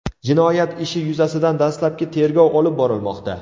Jinoyat ishi yuzasidan dastlabki tergov olib borilmoqda.